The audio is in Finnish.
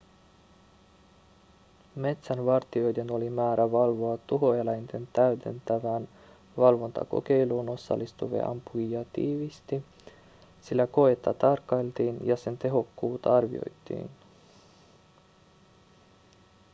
metsänvartijoiden oli määrä valvoa tuhoeläinten täydentävään valvontakokeiluun osallistuvia ampujia tiiviisti sillä koetta tarkkailtiin ja sen tehokkuutta arvioitiin